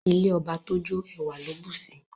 Ilé ọba tójó ẹwà ló bùsi